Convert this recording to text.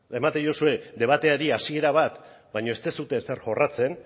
ematen diozue debateari hasiera bat baina ez duzue ezer jorratzen